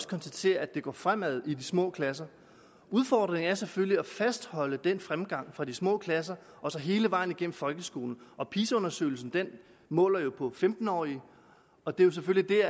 konstatere at det går fremad i de små klasser udfordringen er selvfølgelig at fastholde den fremgang for de små klasser og så hele vejen igennem folkeskolen og pisa undersøgelsen måler jo på femten årige og det er selvfølgelig